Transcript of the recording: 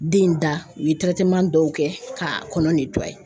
Den in da u ye dɔw kɛ k'a kɔnɔ